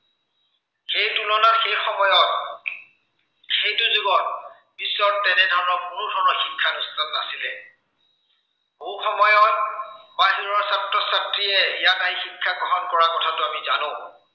সেই তুলনাত সেই সময়ত সেইটো যুগত, বিশ্বত তেনেধৰণৰ কোনো ধৰণৰ শিক্ষা অনুষ্ঠান নাছিলে। বহু সময়ত বাহিৰৰ ছাত্ৰ-ছাত্ৰীয়ে ইয়াত আহি শিক্ষা গ্ৰহণ কৰাৰ কথাটো আমি জানো।